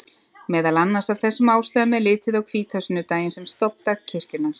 Meðal annars af þessum ástæðum er litið á hvítasunnudaginn sem stofndag kirkjunnar.